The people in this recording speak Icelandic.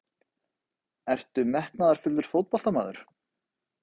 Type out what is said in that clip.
Ertu metnaðarfullur fótboltamaður?